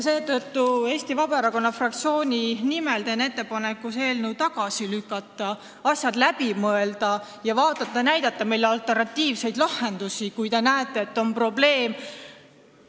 Seetõttu teen ma Eesti Vabaerakonna fraktsiooni nimel ettepaneku see eelnõu tagasi lükata, asjad läbi mõelda ja näidata meile alternatiivseid lahendusi, kui te näete, et on probleem.